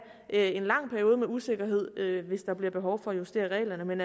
en lang periode med usikkerhed hvis der bliver behov for at justere reglerne men